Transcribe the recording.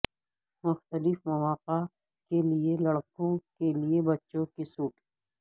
مختلف مواقع کے لئے لڑکوں کے لئے بچوں کے سوٹ